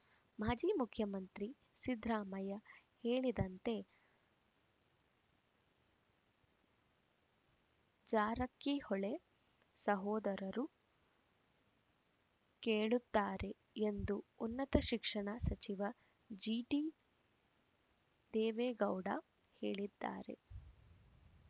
ಮಾಜಿ ಮುಖ್ಯಮಂತ್ರಿ ಸಿದ್ದರಾಮಯ್ಯ ಹೇಳಿದಂತೆ ಜಾರಕಿಹೊಳಿ ಸಹೋದರರು ಕೇಳುತ್ತಾರೆ ಎಂದು ಉನ್ನತ ಶಿಕ್ಷಣ ಸಚಿವ ಜಿಟಿ ದೇವೇಗೌಡ ಹೇಳಿದ್ದಾರೆ